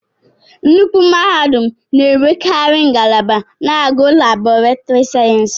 Nnukwu mahadum n'enwekari ngalaba na-agụ Laboretiri sayensị.